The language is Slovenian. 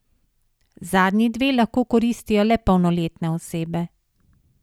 Zadnji dve lahko koristijo le polnoletne osebe.